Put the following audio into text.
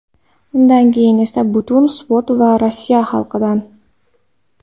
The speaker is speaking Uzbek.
Undan keyin esa butun sport va Rossiya xalqidan.